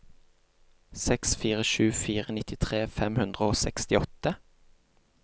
seks fire sju fire nittitre fem hundre og sekstiåtte